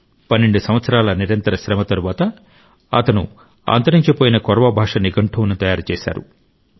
12 సంవత్సరాల నిరంతర శ్రమ తరువాత అతను అంతరించిపోయిన కొర్వ భాష నిఘంటువును సిద్ధం చేశారు